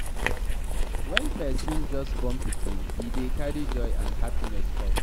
When person just born pikin, e dey carry joy and happiness come